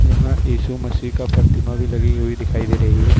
यहां यीशु मसीह का प्रतिमा भी लगी हुई दिखाई दे रही है।